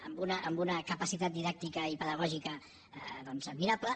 amb una capacitat didàctica i pedagògica admirable